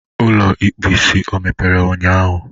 Ụlọ ịkpụ isi ọ emepere ụnyahụ?